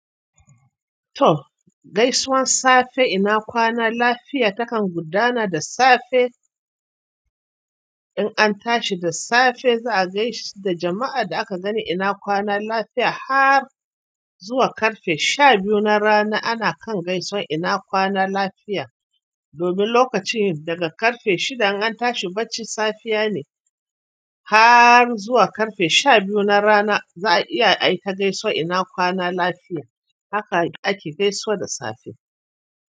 To gaisuwan safe ina kwana lafiya takan gudana da safe in an tashi da safe za a gaishe da jama'ar da aka gani ina kwana lafiya har zuwa ƙarfe sha biyu na rana ana kan gaisuwan ina kwana lafiya domin lokacin daga ƙarfe shida in an tashi bacci safiya ne har zuwa ƙarfe sha biyu na rana za a iya ai ta gaisuwar ina kwana lafiya haka ake gaisawa da safe.